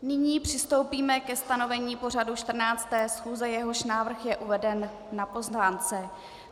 Nyní přistoupíme ke stanovení pořadu 14. schůze, jehož návrh je uveden na pozvánce.